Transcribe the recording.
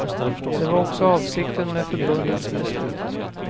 Det var också avsikten med förbundets beslut.